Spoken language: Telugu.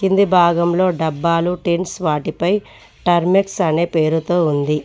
కింది భాగంలో డబ్బాలు టెన్స్ వాటిపై టర్మెట్స్ అనే పేరుతో ఉంది.